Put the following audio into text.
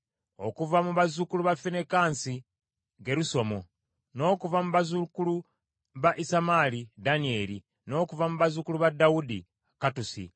okuva mu bazzukulu ba Finekaasi, Gerusomu; n’okuva mu bazzukulu ba Isamaali, Danyeri; n’okuva mu bazzukulu ba Dawudi, Kattusi